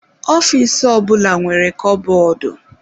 Ọfịs ọbula nwere kọbọdụ